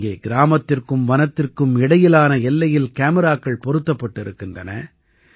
இங்கே கிராமத்திற்கும் வனத்திற்கும் இடையிலான எல்லையில் காமிராக்கள் பொருத்தப்பட்டு இருக்கின்றன